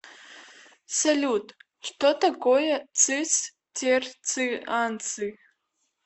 салют что такое цистерцианцы